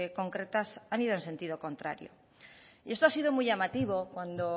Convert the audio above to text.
concretas han ido en sentido contrario esto ha sido muy llamativo cuando